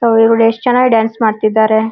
ಅವ್ಳು ಇವ್ಳು ಎಸ್ಟ್ ಚೆನ್ನಾಗ್ ಡಾನ್ಸ್ ಮಾಡ್ತಾ ಇದ್ದಾರೆ.